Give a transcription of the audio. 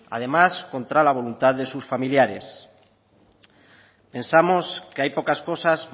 además contra la voluntad de sus familiares pensamos que hay pocas cosas